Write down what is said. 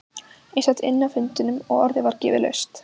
Ég sat inni á fundinum og orðið var gefið laust.